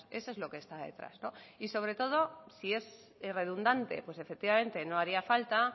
eso es lo que está detrás y sobre todo si es irredundante pues efectivamente no haría falta